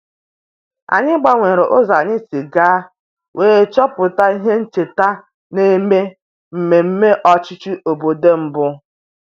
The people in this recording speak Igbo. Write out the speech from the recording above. Anyị gbanwere ụzọ anyị si aga wee chọpụta ihe ncheta na-eme mmemme ọchịchị obodo mbụ